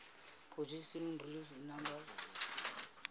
positive real numbers